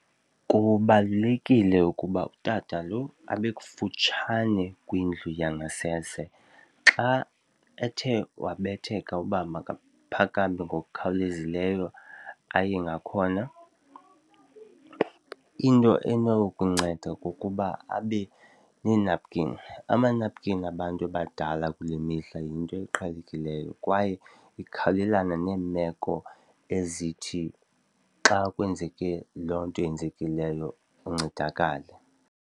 Kubalulekile ukuba utata lo abe kufutshane kwindlu yangasese. Xa ethe wabetheka uba makaphakame ngokukhawulezileyo aye ngakhona, into enokunceda kukuba abe nenapukeni. Amanapukeni abantu abadala kule mihla yinto eqhelekileyo kwaye ikhawulelana neemeko ezithi xa kwenzeke loo nto yenzekileyo uncedakale.